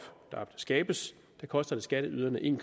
der skabes koster skatteyderne en